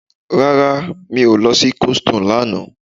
Rárá mi ò lọ sí coldstone lánàá